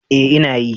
Ee ina yi.